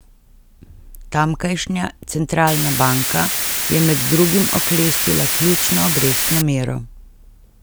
Tamkajšnja centralna banka je med drugim oklestila ključno obrestno mero.